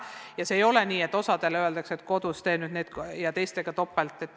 Ja ei ole nii, et osale öeldakse, et tee kodus, ja teistega töötatakse topelt.